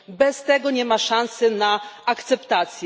Bez tego nie ma szansy na akceptację.